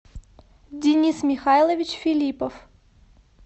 денис михайлович филиппов